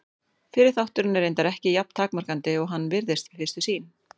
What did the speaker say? Fyrri þátturinn er reyndar ekki jafn takmarkandi og hann virðist við fyrstu sýn.